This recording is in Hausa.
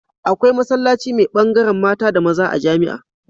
Akwai masallaci me bangaran mata da maza a jamia